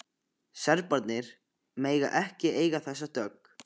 Serbarnir mega ekki eiga þessa dögg!